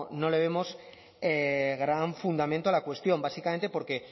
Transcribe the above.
no le vemos gran fundamento a la cuestión básicamente porque